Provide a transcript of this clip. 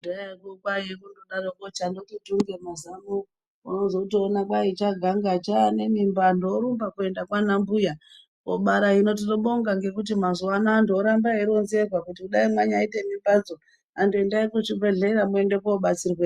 Kudhayako kwaive kungodaroko changoti tunge mazano unozotoona kwai chaganga chaa nemimba vandu vorumba kuenda kwaana mbuya kobara, hino tinobonga ngekuti mazuvano vandu voramba veironzerwa kuti dai manyaite mimbadzo vandu endai kuzvibhedyeya muende kundobatsirweeyoo.